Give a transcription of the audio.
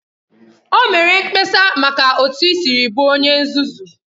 O mere mkpesa maka otu i siri bụrụ onye nzuzu